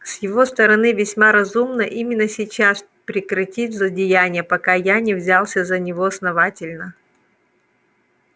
с его стороны весьма разумно именно сейчас прекратить злодеяния пока я не взялся за него основательно